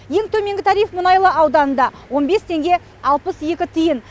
ең төменгі тариф мұнайлы ауданында он бес теңге алпыс екі тиын